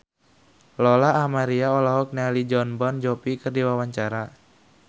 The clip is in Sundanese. Lola Amaria olohok ningali Jon Bon Jovi keur diwawancara